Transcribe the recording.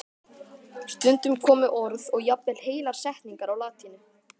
Stundum komu orð og jafnvel heilar setningar á latínu.